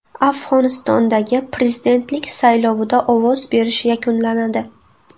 Afg‘onistondagi prezidentlik saylovida ovoz berish yakunlanadi.